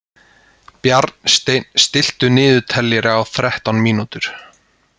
Bjarnsteinn, stilltu niðurteljara á þrettán mínútur.